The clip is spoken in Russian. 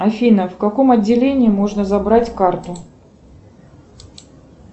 афина в каком отделении можно забрать карту